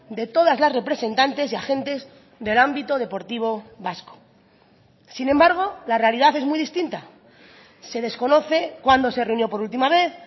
de todas las representantes y agentes del ámbito deportivo vasco sin embargo la realidad es muy distinta se desconoce cuándo se reunió por última vez